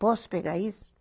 Posso pegar isso?